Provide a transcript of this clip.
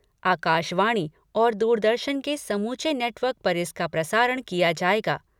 आकाशवाणी और दूरदर्शन के समूचे नेटवर्क पर इसका प्रसारण किया जायेगा।